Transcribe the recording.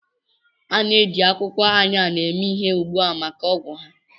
A na-eji akwụkwọ Ayan eme ihe ugbu a maka ọgwụ ha.